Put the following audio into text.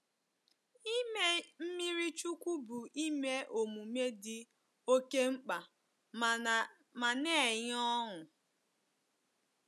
Ime mmiri chukwu bụ ihe omume dị oke mkpa ma na-enye ọṅụ.